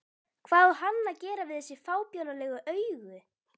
Hvað á hann að gera við þessi fábjánalegu augu?